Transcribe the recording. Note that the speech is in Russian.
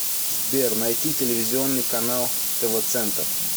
сбер найти телевизионный канал тв центр